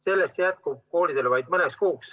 Sellest jätkub koolidele vaid mõneks kuuks.